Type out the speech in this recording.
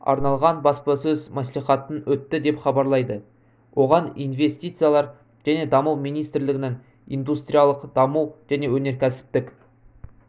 арналған баспасөз мәслихатын өтті деп хабарлайды оған инвестициялар және даму министрлігінің индустриялық даму және өнеркәсіптік